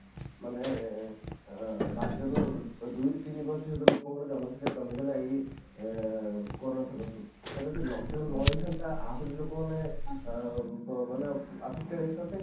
ମାନେ ଅଂ ପାଞ୍ଚରୁ ଦୁଇ ରୁ ତିନି ପ୍ରତିଶତ ଲୋକଙ୍କର ଜନସଂଖ୍ୟା କମିଗଲା ଏଇ ଉମ କରୋନା ସକାଶେ ଯୋଉ ଆଉ ଯଦି lock down ନ ହେଇଥାନ୍ତା ଆହୁରି ଲୋକ ମାନେ ଉମ ମାନେ affected ହେଇଥାନ୍ତେ